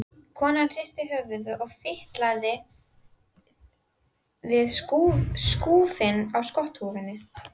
Konan hristi höfuðið og fitlaði við skúfinn á skotthúfunni.